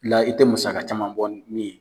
la i tɛ musaka caman bɔ ni min ye.